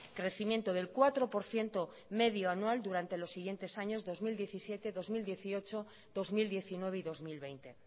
crecimiento del cuatro por ciento medio anual durante los siguientes años dos mil diecisiete dos mil dieciocho dos mil diecinueve y dos mil veinte